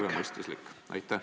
... teile tervemõistuslik?